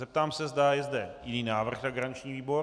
Zeptám se, zda je zde jiný návrh na garanční výbor.